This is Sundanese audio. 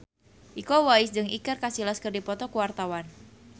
Iko Uwais jeung Iker Casillas keur dipoto ku wartawan